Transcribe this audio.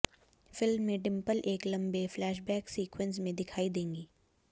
film में डिंपल एक लंबे फ्लैशबैक सीक्वेंस में दिखाई देंगी